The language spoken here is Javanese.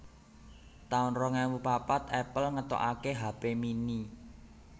taun rong ewu papat Apple ngetokaké hape mini